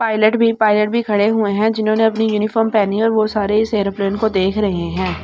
Pilot भी pilot भी खड़े हुए हैं जिन्होंने अपनी यूनिफॉर्म पहनी है और वो सारे इस एयरप्लेन को देख रहे हैं।